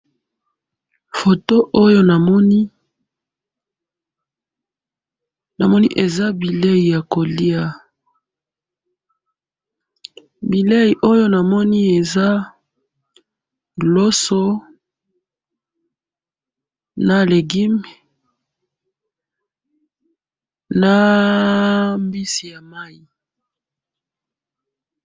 photo oyo namoni ,namoni eza bileyi ya koliya, bileyi oyo namoni eza loso na legume na mbisi ya mayi.